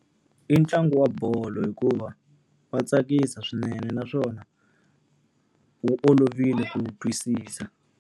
I ntlangu wa bolo hikuva va tsakisa swinene naswona, wu olovile ku wu twisisa.